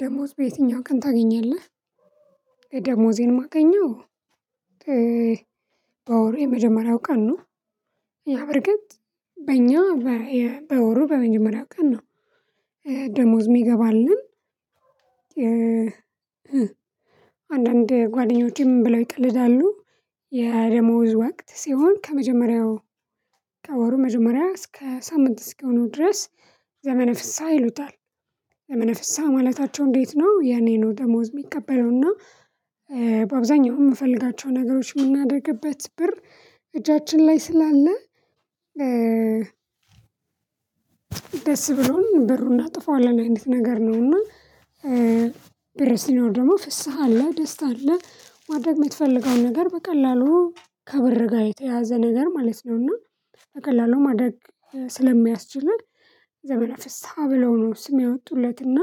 ደሞዝ በየትኛው ቀን ታገኛለህ? ደሞዜን ማገኘው የመጀመሪያው ቀን ነው። ያ በርግጥ በእኛ በወሩ በመጀመሪያው ቀን ነው። ደሞዝ የሚገባልን አንዳንድ ጓደኞቼ ምን ብለው ይቀልዳሉ። የደሞዝ ወቅት ሲሆን ከመጀመሪያው መጀመሪያ እስከ ሳምንት እስኪሆነው ድረስ ዘመነ ፍስሃ ይሉታል። ዘመነ ፍስሃ ማለታቸው እንዴት ነው ያኔ ነው። ደሞዝ የሚቀበለውና በአብዛኛው የምፈልጋቸው ነገሮች የምናደርግበት ብር እጃችን ላይ ስላለ ደስ ብሎን ብሩን እናጠፋዋለን አይነት ነገር ነውና። ብር ሲኖር ደግሞ ፍስሃ አለ ደስታ አለ ማድረግ የምትፈልገውን ነገር በቀላሉ ከብር ጋር የተያያዘ ነገር ማለት ነውና። በቀላሉ ማድረግ ስለሚያስችለን ዘመነ ፍስሃ ብለው ነው ስም ያወጡለት እና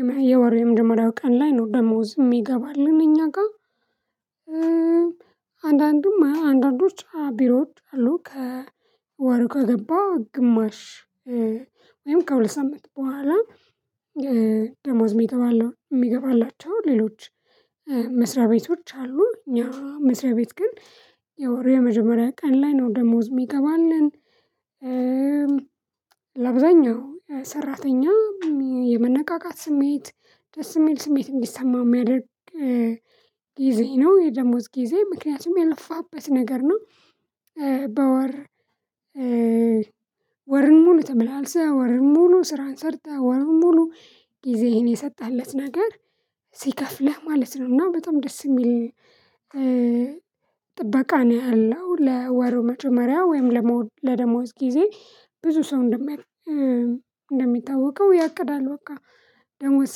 እና የወር የመጀመሪያው ቀን ላይ ነው ደሞዝ የሚገባልን እኛ ጋር። አንዳንድም አንዳንዶች ቢሮዎች አሉ ከወር ከገባ ግማሽ ወይም ከሁለት ሳምንት በኋላ ደሞዝ የሚገባለው የሚገባላቸው ሌሎች መስሪያ ቤቶች አሉ። እኛ መስሪያ ቤት ግን የወር የመጀመሪያ ቀን ላይ ነው ደሞዝ የሚገባልን። ለአብዛኛው ሰራተኛ የመነቃቃት ስሜት ደስ የሚል ስሜት እንዲሰማው የሚያደርግ ጊዜ ነው የደሞዝ ጊዜ ምክንያቱም የለፋህበት ነገር ነው። በወር ወርን ሙሉ ተመላልሰህ ወርን ሙሉ ስራን ሰርተህ ወርን ሙሉ ጊዜህን የሰጠህለት ነገር ሲከፍልህ ማለት ነው። እና በጣም ደስ የሚል ጥበቃ ነው ያለው ለወሩ መጀመሪያ ወይም ለደሞዝ ጊዜ ብዙ ሰው እንደሚታወቀው ያቅዳል በቃ ደሞዝ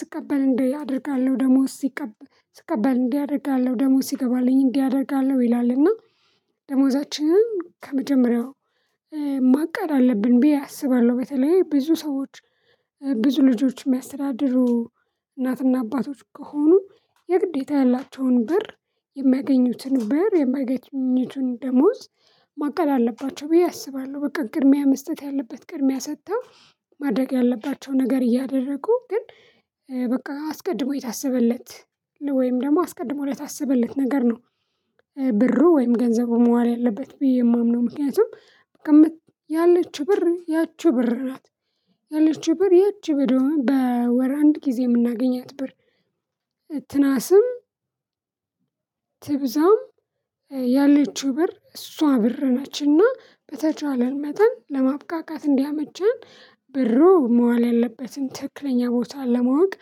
ስቀበል እንዲህ አደርጋለሁ ደሞዝ ሲቀበል ስቀበል እንዲህ አደርጋለሁ ደሞዝ ሲገባልኝ እንዲህ አደርጋለሁ ይላል። እና ደሞዛችንን ከመጀመሪያው ማቀድ አለብን ብዬ አስባለሁ በተለይ ብዙ ሰዎች ብዙ ልጆች የሚያስተዳድሩ እናትና አባቶች ከሆኑ የግዴታ ያላቸውን ብር የማያገኙትን ብር የሚያገኘቱን ደሞዝ ማቀድ አለባቸው ብዬ አስባለሁ። በቃ ቅድሚያ መስጠት ያለበት ቅድሚያ ሰጥተው ማድረግ ያለባቸው ነገር እያደረጉ ግን በቃ አስቀድሞ የታሰበለት ወይም ደግሞ አስቀድሞ ለታሰበለት ነገር ነው ብሩ ወይም ገንዘቡን መዋል ያለበት ብዬ የማምነው ምክንያቱም ያለችው ብር ያቺ ብር ናት። ያለችው ብር ያቺ በወር አንድ ጊዜ የምናገኛት ብር ትነስም ትብዛም ያለችው ብር እሷ ብር ነችንና በተቻለን መጠን ለማብቃቃት እንዲያመቸን ብሩ መዋል ያለበትን ትክክለኛ ቦታ ለማወቅ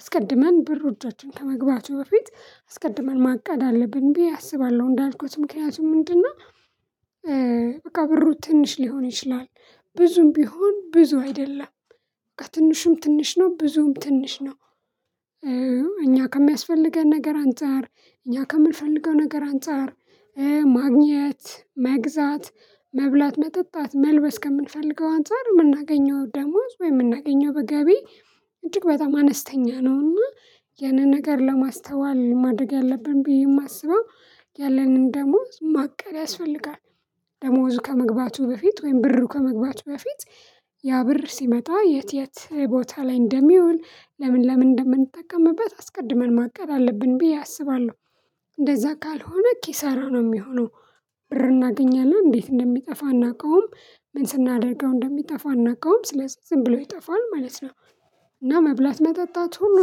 አስቀድመን ብሩ እጆቻችን ከመግባቱ በፊት አስቀድመን ማቃድ አለብኝ ብዬ አስባለሁ እንዳልኩት ምክንያቱም ምንድነው? በቃ ብሩ ትንሽ ሊሆን ይችላል ብዙም ቢሆን ብዙ አይደለም በቃ ትንሽም ትንሽ ነው ብዙም ትንሽ ነው። እኛ ከሚያስፈልገን ነገር አንፃር እኛ ከምንፈልገው ነገር አንፃር ማግኘት መግዛት መብላት መጠጣት መልበስ ከምንፈልገው አንፃር የምናገኘው ደሞዝ ወይ የምናገኘው ገቢ እጅግ በጣም አነስተኛ ነው። እና ያንን ነገር ለማስተዋል ማድረግ ያለብን ብዬ የማስበው ያለንን ደሞዝ ማቀድ ያስፈልጋል። ደሞዙ ከመግባቱ በፊት ወይም ብሩ ከመግባቱ በፊት ያ ብር ሲመጣ የት የት ቦታ ላይ እንደሚውል ለምን ለምን እንደምንጠቀምበት አስቀድመን ማቀድ አለብን ብዬ አስባለሁ። እንደዛ ካልሆነ ኪሳራ ነው የሚሆነው ብር እናገኛለን እንዴት እንደሚጠፋ እናውቀውም ምን ስናደርገው እንደሚጠፋ እናውቀውም ስለዚህ ዝም ብሎ ይጠፋል ማለት ነው። እና መብላት መጠጣት ሁሉ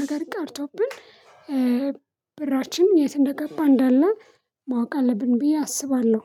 ነገር ቀርቶብን ብራችን የት እንደገባ እንዳለ ማወቅ አለብን ብዬ አስባለሁ